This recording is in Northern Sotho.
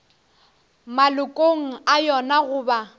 malokong a yona go ba